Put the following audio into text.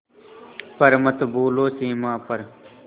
पर मत भूलो सीमा पर